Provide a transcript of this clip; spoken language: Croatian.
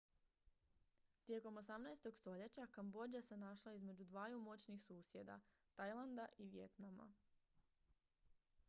tijekom 18. stoljeća kambodža se našla između dvaju moćnih susjeda tajlanda i vijetnama